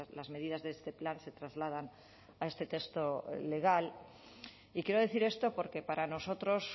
las medidas de este plan se trasladan a este texto legal y quiero decir esto porque para nosotros